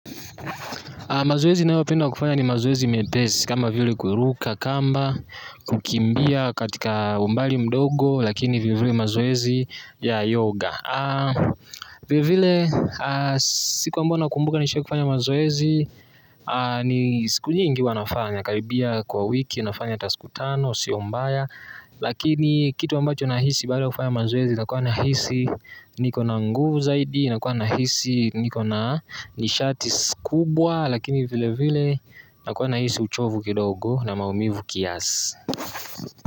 Mazoezi ninayopenda kufanya ni mazoezi mepesi kama vile kuruka kamba kukimbia katika umbali mdogo lakini vile vile mazoezi ya yoga vile vile siku ambayo naikumbuka nishaikufanya mazoezi ni siku nyingi huwa nafanya karibia kwa wiki nafanya hata siku tano sio mbaya lakini kitu ambacho nahisi baada ya kufanya mazoezi nakua nahisi niko na nguvu zaidi. Nakua nahisi niko na nishati kubwa lakini vile vile nakua nahisi uchovu kidogo na maumivu kiasi.